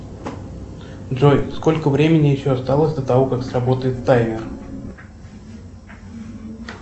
джой сколько времени еще осталось до того как сработает таймер